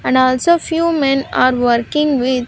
And also few men are working with --